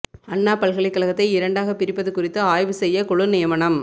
அண்ணா பல்கலைக்கழகத்தை இரண்டாகப் பிரிப்பது குறித்து ஆய்வு செய்ய குழு நியமனம்